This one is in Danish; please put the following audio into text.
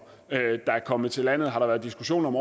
er kommet til landet har der været diskussion om